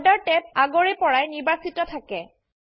border tab আগৰে পৰাই নিৰ্বাচিত থাকে